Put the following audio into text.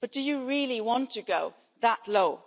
Do you really want to go that low?